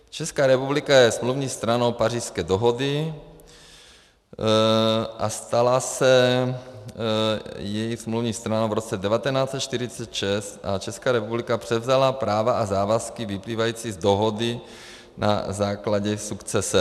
Česká republika je smluvní stranou Pařížské dohody a stala se její smluvní stranou v roce 1946 a Česká republika převzala práva a závazky vyplývající z dohody na základě sukcese.